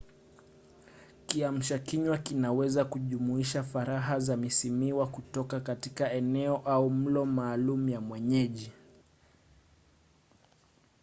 kiamsha kinywa kinaweza kujumuisha faraha za misimuwa kutoka katika eneo au mlo maalum ya mwenyeji